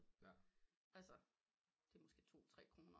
Altså det er måske to tre kroner